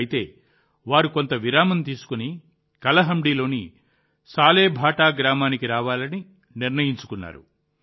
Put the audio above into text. అయితే వారు కొంత విరామం తీసుకుని కలహండిలోని సాలెభాటా గ్రామానికి రావాలని నిర్ణయించుకున్నారు